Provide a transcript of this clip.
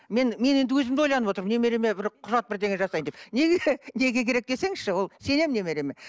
мен мен енді өзім де ойланып отырмын немереме бір құжат бірдеңе жасайын деп неге неге керек десеңізші ол сенемін немере